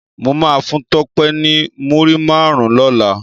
Mó má fún Tope ni múri márùn lòlá